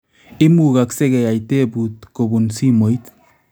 Imugakse keyai tebuut kobun simoit